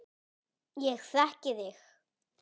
Ég þekki þig